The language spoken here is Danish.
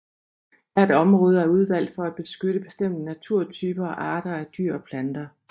Hvert område er udvalgt for at beskytte bestemte naturtyper og arter af dyr og planter